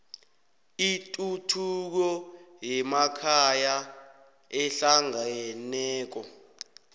ituthuko yemakhaya ehlangeneko